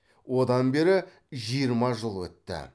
одан бері жиырма жыл өтті